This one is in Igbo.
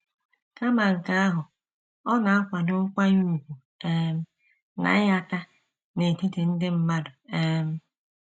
Kama nke ahụ, ọ na - akwado nkwanye ùgwù um na ịhà nhata n’etiti ndị mmadụ. um